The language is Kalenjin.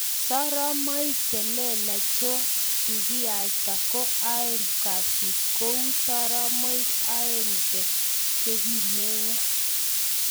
Soromaik che lelack cho kikaita ko ae kasit kouu soromaik aenge che kimeiya